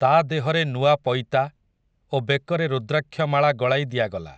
ତା' ଦେହରେ ନୂଆ ପଇତା, ଓ ବେକରେ ରୁଦ୍ରାକ୍ଷମାଳା ଗଳାଇ ଦିଆଗଲା ।